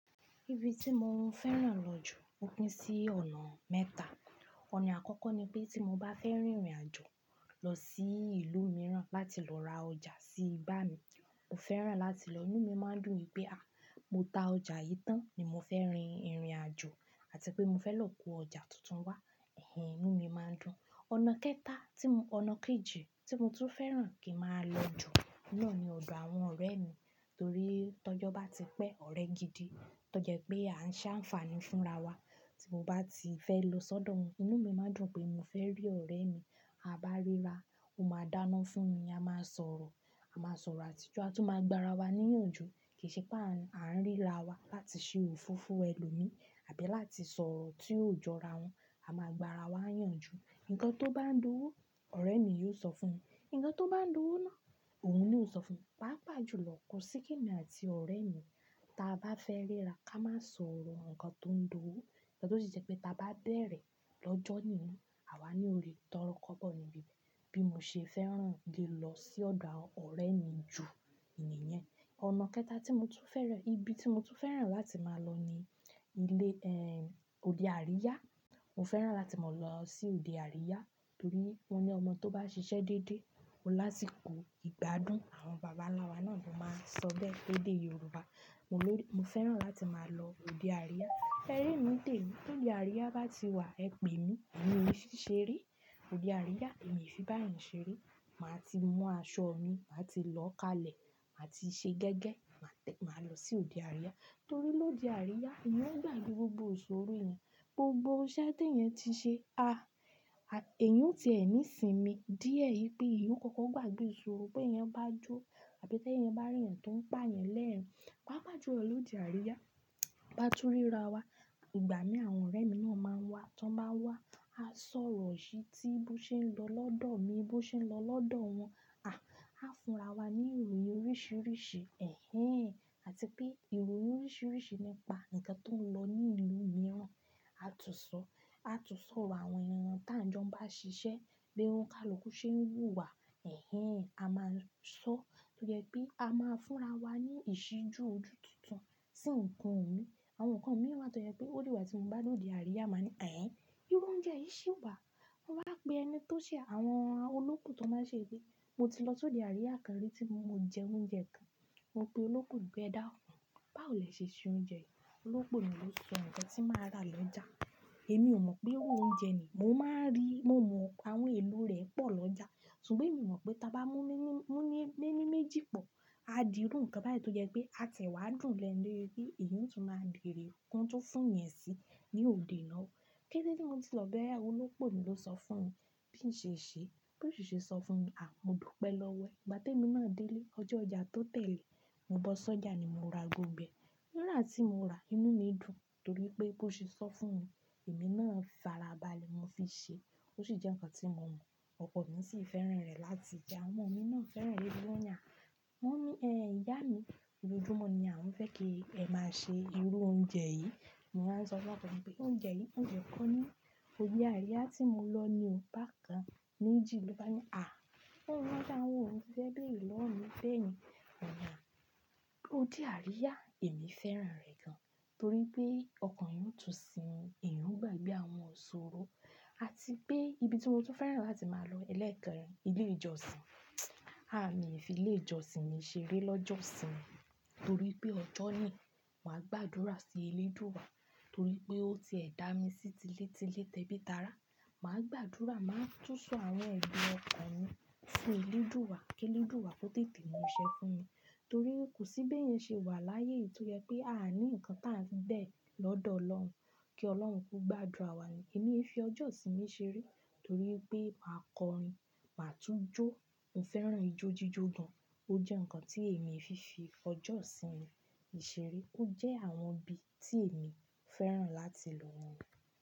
Ibi tí mo ń fẹ́ràn lọ jù, o pín sí ọ̀nà mẹ́ta. Ọ̀nà àkọ́kọ́ ni pé tí mo bá fẹ́ rin ìrìnàjò lọ sí ìlú mìíràn láti lọ ra ọjà sí igbà mi, mo fẹ́ràn láti lọ, inú mi máa ń dùn ni pé a, mo ta ọjà yìí tán ni mo fẹ́ rin ìrìnàjò àti pé mo fẹ́ lọ kó ọjà tuntun wá. Ẹ̀hẹ́n, inú mi máa ń dùn. Ọ̀nà kẹta tí mo, ọ̀nà kejì tí mo tún fẹ́ràn kí máa lọ jù náà ni ọ̀dọ̀ àwọn ọ̀rẹ́ mi. Nítorí tó jọ́ bá ti pẹ́, ọ̀rẹ́ gidi tó jẹ́ pé a ń ṣe àǹfààní fúnra wa. Tí mo bá ti fẹ́ lọ sọ́dọ̀ wọn, inú mi máa ń dùn pé mo fẹ́ rí ọ̀rẹ́ mi. A bá ríra, ó máa dáná fún mi, a máa sọ̀rọ̀, a máa sọ̀rọ̀ àtijọ́, a tún máa gba ara wa níyànjú. Kì í ṣe pé àń-à ń ríra wa láti ṣe òfoofo ẹlòmí àbí láti sọ̀rọ̀ tí óò jọra wọn. A máa gba ara wa yànjú. Ǹkan tó bá ń dúnnu, ọ̀rẹ́ mi yóò sọ fún mi, ǹkan tó bá ń dúnnu náà, òun naa ó sọ fún mi. Pápá jù lọ kú síkìnì àti ọ̀rẹ́ mi, tí a bá fẹ́ ríra ká máa sọ̀rọ̀ ǹkan tó ń dowó. Ǹkan tó sì jẹ́ pé ta bá bẹ̀rẹ̀ lọ́jọ́ yìí ni, àwa ni ò rí i tọ́rọ kọ́bọ̀ níbí be. Bí mo ṣe fẹ́ràn ki n lọ sí ọ̀dọ̀ ọ̀rẹ́ mi jù ìníyẹn. Ọ̀nà kẹta tí mo tún fẹ́ràn, ibi tí mo tún fẹ́ràn láti máa lọ ni ilé, ẹ́hìn, òde àríyá. Mo fẹ́ràn láti máa lọ sí òde àríyá torí won ní ọmọ tó bá ṣiṣẹ́ dédé, ó lásikó ìgbádùn. Àwọn bàbá ńlá wa náà ló máa ń sọ bẹ́ẹ̀ léde Yorùbá. Mo ló-- mo fẹ́ràn láti máa lọ òde àríyá. Se ri emi n tèmi, tóde àríyá bá ti wà, ẹ pè mí. Èmi ò n fì ṣeré. Òde àríyá èmi i fi bá yan ṣeré. Màá ti mú aṣọ mi, màá ti lọ kalẹ̀, màá ti ṣe gẹ́gẹ́, màá tẹ-- máa lọ sí òde àríyá. Torí l'òde àríyá, èyàn o gbàgbé gbogbo iṣòrò rẹ̀. Gbogbo iṣẹ́ tí ẹ̀yan ti ṣe, a, èyàn o ti ẹ̀ ní sími díẹ̀ yí pé èyàn o kọ̀ọ̀kan gbàgbé iṣòrò. Bé ẹ̀eyan bá jó àbí tí ẹ̀eyan bá rí ẹeyan tó ń pà yan lẹ́ẹ̀rín. Pápá jù lọ l'òde àríyá, bá tú ríra wa, ìgbà mí àwọn ọ̀rẹ́ mi náà máa wá. Tí wọ́n bá wá, a sọ̀rọ̀ sí i tí bó ṣe ń lọ lọ́dọ̀ mi, bó ṣe ń lọ lọ́dọ̀ wọn. A, a fúnra wa ní ìròyìn oríṣiríṣi. Ẹ̀hẹ́n, àti pé ìròyìn oríṣiríṣi nípa ǹkan tó ń lọ ní ìlú mìíràn. A tún sọ, a tún sorọ àwọn enìyan tá n jọ́ n bá ṣiṣẹ́, bí oǹikaluku ṣe ń wù wà. Ẹ̀hẹ́n, a máa ń sọ tó jẹ́ pé a máa ń fúnra wa ní ìṣíjú ojú tuntun sí ǹkan wọ̀nyí. Àwọn kan mìíràn tó jẹ́ pé ó digba tí mo bá lọ òde àríyá máa ní, "Ẹ̀hẹ́n, irú oúnjẹ yìí ṣe wà?" Mo wá pe ẹni tó ṣe àwọn olópo tan máa ṣe yí pe. Mo ti lọ sóde àríyá kan rí tí mo jẹ iru oúnjẹ kan, mo pe olópo pé e dákùn, báwò lè ṣe ṣe oúnjẹ yìí. Olópo náà ló ṣo awon ǹkan tí màá rà lọ́jà. Èmi ò mọ̀ pé irú oúnjẹ ni. Mo máa ń rí, mo mọ àwọn èlò rẹ̀ pọ̀ lọ́jà. Ṣùgbọ́n èmi o mọ̀ pé tí a bá mú míní-mú ní méjì pọ̀, a di irú ǹkan báyìí tó jẹ́ pé a ti ẹ̀ wá dùn lẹ́ẹ́nu de bi pe. Èyí o tún máa beèrè kan tun fún yan sí ní òde ináwo. Kétẹ́ tí mo ti lọ bẹ́rẹ́, olópo ló sọ fún mi bí n ṣe ṣe. Bí ó ṣe sọ fún mi, a mo dùpẹ́ lọ́wọ́ e. Ìgbà tí èmi náà dé ilé, ọjọ́ ọjà tó tẹ̀lé, mo bọ́ sọ́jà ni mo ra gbogbo ẹ̀. Nígbà tí mo rà á, inú mi dùn torí pé bó ṣe sọ fún mi, èmi náà fara balẹ̀ mo fi ṣe. Ó sì jẹ́ ǹkan tí mo mọ̀. Ọkọ mi sì fẹ́ràn rẹ̀ láti jẹ. Awọn mi náà fẹ́ràn rẹ̀ lójú ọ̀nyà. Wọ́n ní, "Ẹ̀hẹn, ìyá mi, ójoójúmọ́ ni à ń fẹ́ kí ẹ máa ṣe irú oúnjẹ yìí." Mo wá sọ fọ́ko mi pé oúnjẹ yìí, mo de ko ní òde àríyá tí mo lọ ni o. Bá kan méjì ló bá ní, "A, óúnjẹ àwọn òògùn fi bẹ́rẹ̀ lọ́wọ́ mi bẹ́ẹ̀ ni." Ọ̀na, òde àríyá èmi fẹ́ràn rẹ̀ gan torí pé ọkàn èyàn o tún sinmi, èyàn ó gbàgbé àwọn iṣòrò àti pé ibi tí mo tún fẹ́ràn láti máa lọ ẹlẹ́ẹ̀kẹ́rin, ilé ìjọsìn. A, mi le fi ilé ìjọsìn mi ṣeré lọ́jọ́ ìsinmi torí pé ọjọ́ nìí, màá gbàdúrà sí eléèdúà torí pé ó ti ẹ̀ dá mi sí ti lé tilé tẹ́bítára. Màá gbàdúrà, màá tún sọ àwọn ẹ̀dùn ọkàn mi fún eléèdúà kí eléèdúà tó tètè mú ṣẹ́ fún mi. Torí kò sí bí ẹ̀yan ṣe wà láyé tó jẹ́ pé a ní ǹkan tá ń bẹ̀ lọ́dọ̀ Ọlọ́run kí Ọlọ́run ko gbàdúrà wa ni. Èmi e fi ọjọ́ ìsinmi ṣeré torí pé màá kọrin, màá tún jó. Mo fẹ́ràn ijó jíjò gan. A, a fúnra wa ní ìròyìn oríṣiríṣi. Ẹ̀hẹ́n, àti pé ìròyìn oríṣiríṣi nípa ǹkan tó ń lọ ní ìlú mìíràn.